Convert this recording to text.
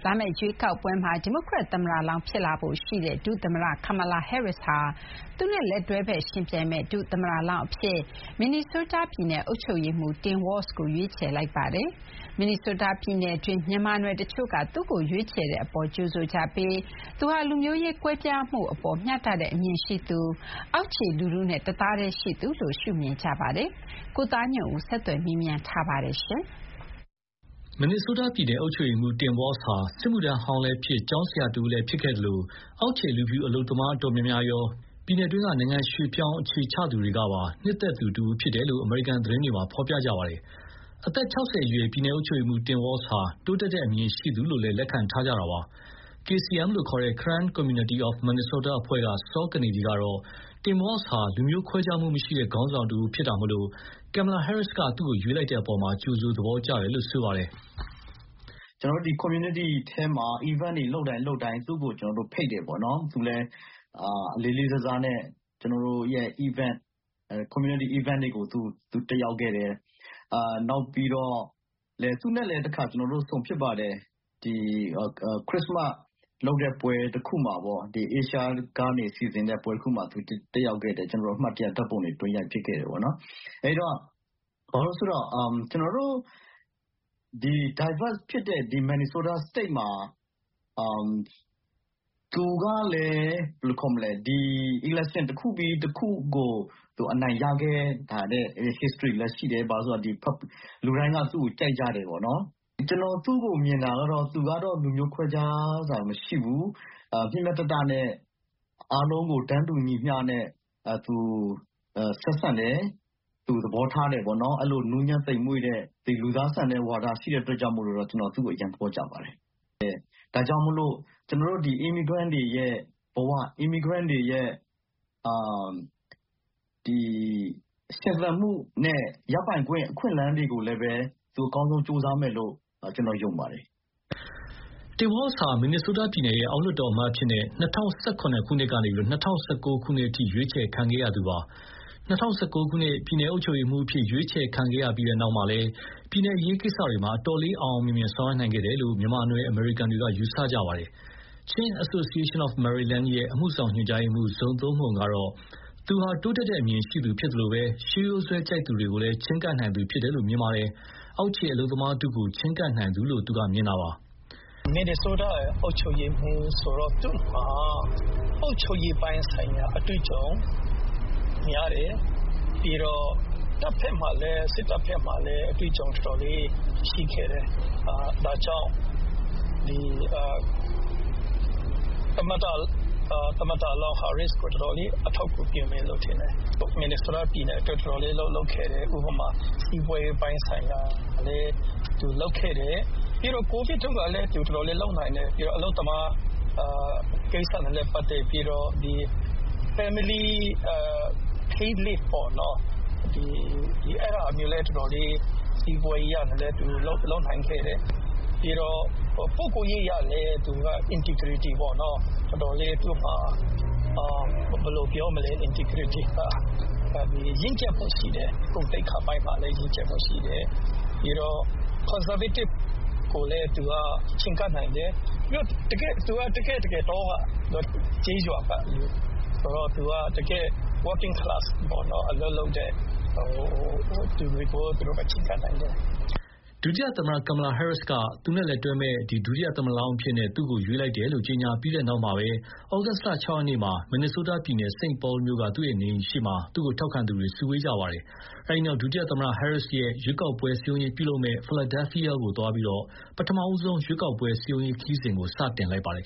ာမယ့်ရွေးကောက်ပွဲမှာ ဒီမိုကရက်သမ္မတလောင်းဖြစ်လာဖို့ရှိတဲ့ ဒုသမ္မတ Kamala Harris ဟာ သူနဲ့ လက်တွဲဖက် ယှဉ်ပြိုင်မယ့်ဒုသမ္မတလောင်းအဖြစ် မင်နီဆိုးတားပြည်နယ်အုပ်ချုပ်ရေးမှူး Tim Walz ကို ရွေးချယ်လိုက်ပါတယ်။ မင်နီဆိုးတားပြည်နယ်တွင်း မြန်မာနွယ်တချို့က သူ့ကိုရွေးချယ်တဲ့အပေါ် ကြိုဆိုကြပြီး သူဟာ လူမျိုးရေးကွဲပြားမှုအပေါ် မျှတတဲ့အမြင်ရှိသူ၊ အောက်ခြေလူထုနဲ့တသားတည်းရှိသူလို့ မြင်ကြပါတယ်။ ကိုသားညွန့်ဦးက ဆက်သွယ်မေးမြန်းထားပါတယ်။ မင်နီဆိုးတားပြည်နယ် အုပ်ချုပ်ရေးမှူး Tim Walz ဟာ စစ်မှုထမ်းဟောင်းလည်းဖြစ်၊ ကျောင်းဆရာတဦးလည်းဖြစ်ခဲ့သလို အောက်ခြေ လူဖြူအလုပ်သမားအတော်များများရော ပြည်နယ်တွင်း နိုင်ငံရွှေ့ပြောင်းအခြေချသူတွေကပါ နှစ်သက်သူ တဦးဖြစ်တယ်လို့ အမေရိကန်သတင်းတွေမှာ ဖော်ပြကြပါတယ်။ အသက် ၆၀ အရွယ် ပြည်နယ်အုပ်ချုပ်ရေးမှူး Tim Walz ဟာ တိုးတက်တဲ့အမြင်ရှိသူလို့လည်း လက်ခံထားကြတာပါ။ KCM လို့ခေါ်တဲ့ Karen Community of Minnesota အဖွဲ့က စောကနေဒီကတော့ Tim Walz ဟာ လူမျိုးခွဲခြားမှုမရှိတဲ့ခေါင်းဆောင်တဦးဖြစ်တာမို့ Kamala Harris က သူ့ကို ရွေးချယ်လိုက်တဲ့အပေါ် ကြိုဆို သဘောကျကြတယ်လို့ဆိုပါတယ်။ “ကျနော်တို့ community ထဲမှာ events လုပ်တိုင်း လုပ်တိုင်း သူ့ကိုဖိတ်တယ်။ သူလည်း လေးလေးစားစားနဲ့ ကျနော်တို့ရဲ့ event- community event တွေကို သူတက်ရောက်ခဲ့တယ်။ နောက်ပြီးတော့ သူနဲ့လည်း ကျနော်တို့ တခါဆုံဖြစ်ပါတယ်။ ခရစ္စမတ်လုပ်တဲ့ပွဲတခုမှာပေါ့။ Asia ကနေစီစဥ်တဲ့ပွဲတခုမှာ တက်ရောက်ခဲ့တယ်။ ကျနော်တို့ အမှတ်တရဓာတ်ပုံတွေ တွဲရိုက်ဖြစ်ခဲ့တယ်ပေါ့နော်။ အဲဒီတော့ Diverse ဖြစ်တဲ့ ဒီ မင်နီဆိုးတားစတိတ်မှာ သူကလည်း ဒီ election တခုပြီးတခုကို အနိုင်ရခဲ့တဲ့ history လည်းရှိတယ်။ ဘာလို့လဲဆို - လူတိုင်းက သူ့ကိုကြိုက်ကြတယ်ပေါ့နော်။ ကျနော်သူ့ကိုမြင်တာကတော့ - သူကတော့ လူမျိုးခွဲခြားတာမရှိဘူး။ မျှမျှတတနဲ့အားလုံးကို တန်းတူညီမျှနဲ့ ဆက်ဆံတယ်၊ သူသဘောထားတယ်ပေါ့နော်။ အဲဒီလို နူးညံ့သိမ်မွေ့တဲ့၊ လူသားဆန်တဲ့ဝါဒရှိတဲ့ အတွက်ကြောင့် ကျနော် သူ့ကိုအရမ်းသဘောကျပါတယ်။ ဒါကြောင့်မို့လို့ ကျနော်တို့ immigrant တွေရဲ့ဘဝ၊ immigrant တွေရဲ့ရှင်သန်မှုနဲ့ ရပိုင်ခွင့် အခွင့်အလမ်းတွေကိုလည်းပဲ သူကောင်းကောင်းကြိုးစားမယ်လို့ ကျနော် ယုံပါတယ်။” Tim Walz ဟာ မင်နီဆိုးတားပြည်နယ်ရဲ့ အောက်လွှတ်တော်အမတ်အဖြစ် ၂၀၀၇ ခုနှစ်ကနေ ၂၀၁၉ ခုနှစ်အထိ ရွေးချယ်ခံခဲ့ရသူပါ။ ၂၀၁၉ ပြည်နယ်အုပ်ချုပ်ရေးမှူးအဖြစ် ရွေးချယ်ခံရပြီးတဲ့နောက်လည်း ပြည်နယ်အရေးကိစ္စတွေမှာ အတော်လေး အောင်အောင်မြင်မြင်ဆောင်ရွက်နိုင်ခဲ့တယ်လို့ မြန်မာနွယ်အမေရိကန်တွေက ယူဆကြပါတယ်။ Chin Association of Maryland ရဲ့ အမှုဆောင် ညွှန်ကြားရေးမှူး Zo Tum Hmung ဇိုသုန်းမှုန်ကတော့ သူဟာ တိုးတက်တဲ့အမြင်ရှိသူဖြစ်သလို ရှေးရိုးစွဲကြိုက်သူတွေကိုလည်း ချဥ်းကပ်နိုင်သူဖြစ်တယ်လို့ မြင်ပါတယ်။ အောက်ခြေအလုပ်သမားထုကို ချဥ်းကပ်နိုင်သူလို့ သူက မြင်တာပါ။ “မင်နီဆိုးတား အုပ်ချုပ်ရေးမှူးဆိုတော့ သူ့မှာ အုပ်ချုပ်ရေးပိုင်းဆိုင်ရာ အတွေ့အကြုံများတယ်၊ ပြီးတော့ စစ်တပ်ဘက်မှာလည်း တော်တော်လေး အတွေ့အကြုံရှိခဲ့တယ်။ ဒါကြောင့် သမ္မတလောင်း ဟာရစ္စ်ကို တော်တော်လေး အထောက်အကူဖြစ်မယ်လို့ ထင်တယ်။ မင်နီဆိုးတားပြည်နယ်အတွက် တော်တော်လေး အလုပ်လုပ်ခဲ့တယ်။ ဥပမာ-စီးပွါးရေးပိုင်းဆိုင်ရာလည်း သူလုပ်ခဲ့တယ်။ ကိုဗစ်တုန်းကလည်း သူ တော်တော်လေး လုပ်နိုင်တယ်။ ပြီးတော့ အလုပ်သမားကိစ္စတွေနဲ့ပတ်သက်ပြီးတော့ family paid-leave ပေါ့။ အဲဒါတွေလည်း စီးပွါးရေးအရလည်း တော်တော်လေး လုပ်နိုင်ခဲ့တယ်။ ပြီးတော့ ပုဂ္ဂိုလ်ရေးအရလည်း သူက integrity ပေါ့နော်၊ တော်တော်လေး သူ့မှာ ဘယ်လိုပြောမလဲ၊ integrity က ရင့်ကျက်မှုရှိတယ်။ ဂုဏ်သိက္ခာပိုင်းမှာလည်း ရင့်ကျက်မှုရှိတယ်။ ပြီးတော့ conservative ကိုလည်း သူက ချဥ်းကပ်နိုင်တယ်။ သူက တကယ့်တကယ် တောက၊ ကျေးရွာကလူဆိုတော့ တကယ့် working-class အလုပ်လုပ်တဲ့သူတွေကိုရော ချဥ်းကပ်နိုင်တယ်။” ဒုတိယသမ္မတ Kamala Harris က သူ့နဲ့လက်တွဲမယ့် ဒုသမ္မတလောင်းအဖြစ် သူ့ကို ရွေးချယ်လိုက်တယ်လို့ ကြေညာပြီးတဲ့နောက် ဩဂုတ်လ ၆ ရက်နေ့မှာပဲ မင်နီဆိုးတားပြည်နယ် St Paul မြို့ က သူ့နေအိမ်ရှေ့မှာပဲ သူ့ကိုထောက်ခံသူတွေ စုဝေးခဲ့ကြပါတယ်။ အဲဒီနောက် ဒုသမ္မတ Harris ရဲ့ ရွေးကောက်ပွဲစည်းရုံးရေးပြုလုပ်မယ့် Philadelphia ကိုသွားရောက်ပြီး ပထမဆုံး ရွေးကောက်ပွဲစည်းရုံးရေးခရီးစဉ်ကို စတင်လိုက်ပါတယ်